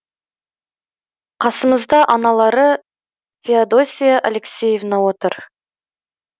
қасымызда аналары феодосия алексеевна отыр